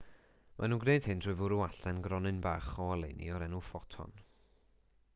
maen nhw'n gwneud hyn trwy fwrw allan gronyn bach o oleuni o'r enw ffoton